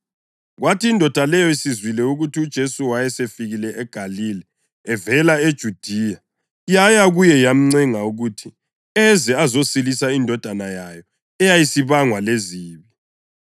Kwathi indoda leyo isizwile ukuthi uJesu wayesefikile eGalile evela eJudiya, yaya kuye yamncenga ukuthi eze azosilisa indodana yayo eyayisibangwa lezibi.